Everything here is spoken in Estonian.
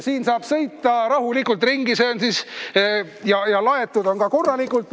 Sellega saab rahulikult ringi sõita, laetud on see ka korralikult.